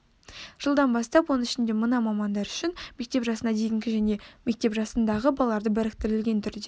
жылдан бастап оның ішінде мына мамандар үшін мектеп жасына дейінгі және мектеп жасындағы балаларды біріктірілген түрде